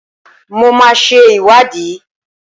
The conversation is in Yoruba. Mo máa ṣe ìwádìí